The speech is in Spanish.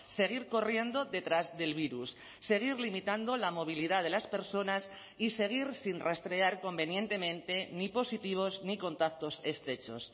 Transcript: seguir corriendo detrás del virus seguir limitando la movilidad de las personas y seguir sin rastrear convenientemente ni positivos ni contactos estrechos